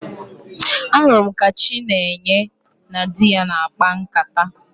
Ahụrụ m ka Chinenye na di ya na-akpa nkata